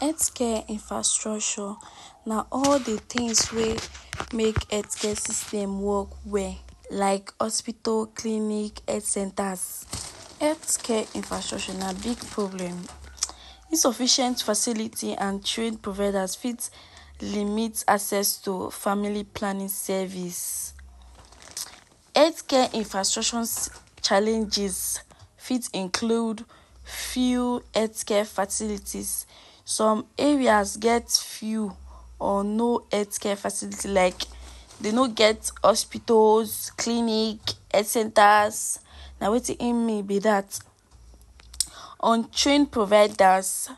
Healthcare infrastructure na all de things wey make healthcare system work well like hospital, clinic, health centers. Healthcare infrastructure na big problem; insufficient facility and train providers fit limit access to family planning service. Healthcare infrastructure challenges fit include few healthcare facilities. Some areas get few or no healthcare facility like dey no get hospitals, clinic, health centers. Na wetin e mean be dat. Untrained providers;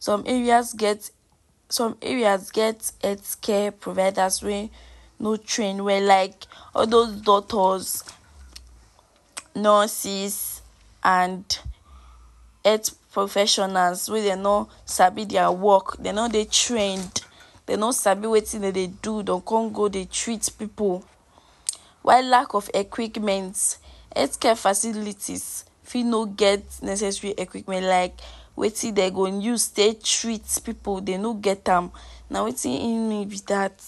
some areas get, some areas get healthcare providers wey no train well like all those doctors, nurses and health professionals wey dey no sabi their work. Dey no dey trained, dey no sabi wetin dem dey do, dey will come go dey treat pipu. While lack of equipment; healthcare facilities fit no get necessary equipment like wetin dem go use take treat pipu, dey no get am. Na wetin im mean be dat.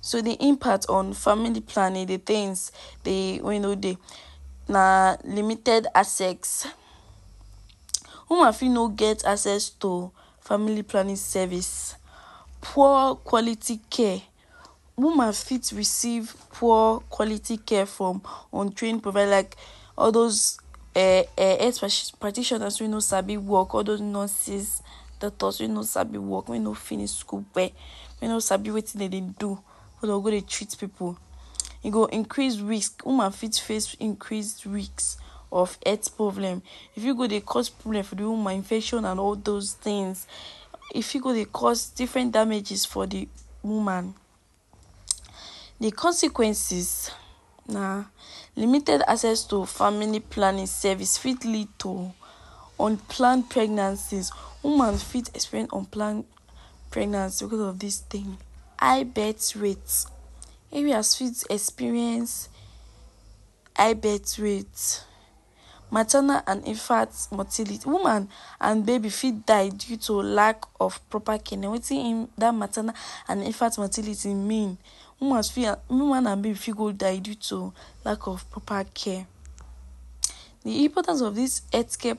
So de impact on family planning, de things, de wey e no dey na limited access. Woman fit no get access to family planning service. Poor quality care; woman fit receive poor quality care from untrained providers. Like all those um um health practitioners wey no sabi work; all those nurses, doctors wey no sabi work, wey no finish school well, wey no sabi wetin dem dey do go dey treat pipu. E go increase risk, woman fit face increased risk of health problem. E fit go dey cause problem for de woman infection and all those things. E fit go dey cause different damages for de woman. De consequences na limited access to family planning service fit lead to unplanned pregnancies. Woman fit experience unplanned pregnancy because of dis thing. High birth rate; areas fit experience high birth rate, maternal and infant mortality. Woman and baby fit die due to lack of proper care. Na wetin im dat maternal and infant mortality mean. Woman fit and, woman and baby fit go die due to lack of proper care. De importance of dis healthcare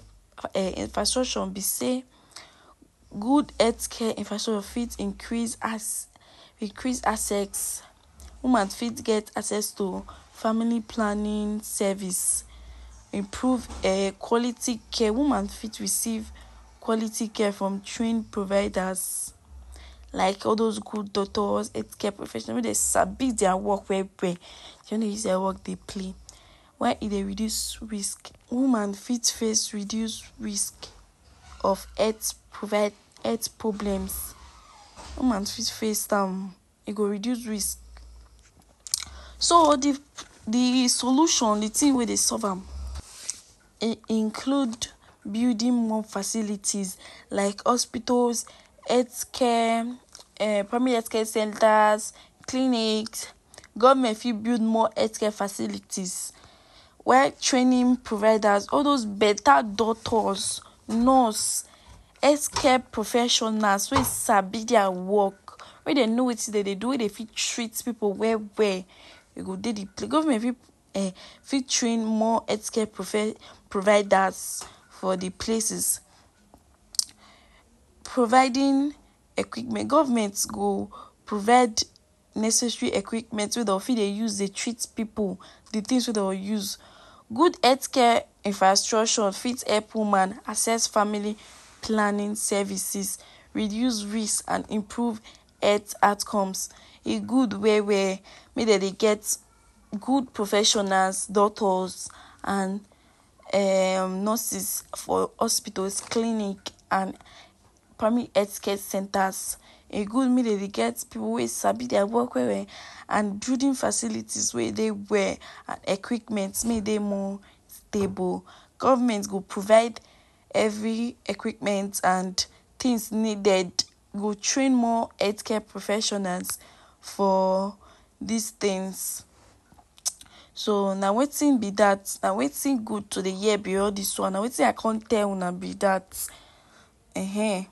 um infrastructure be sey good healthcare infrastructure fit increase increase access. Woman fit get access to family planning service. Improve um quality care; woman fit receive quality care from trained providers like all those good doctors, healthcare professionals wey dey sabi their work well well; dey no dey use their work dey play. Why e dey reduce risk? Woman fit face reduced risk of health health problems; woman fit face, e go reduce risk. So de de solution, de thing wey dey solve am, e include building more facilities like hospitals, healthcare um primary healthcare centers, clinic. Government fit build more healthcare facilities while training providers. all those better doctors, nurse, healthcare professionals wey sabi their work, wey dem know wetin dem dey do, wey dey fit treat pipu well well. Dem go dey de, government fit um fit train more healthcare providers for de places. Providing equipment; government go provide necessary equipment wey dem fit dey use dey treat pipu, de things wey dem use. Good healthcare infrastructure fit help woman access family planning services, reduce risk and improve health outcomes. E good well well make dem dey get good professionals, doctors and um nurses for hospitals, clinic and primary healthcare centers. E good make dem dey get pipu wey sabi their work well well and building facilities wey e dey well equipment, make e dey more stable. Government go provide every equipment and things needed. E go train more healthcare professionals for dis things. So na wetin be dat, na wetin good to dey hear be all dis one, na wetin I come tell una be dat um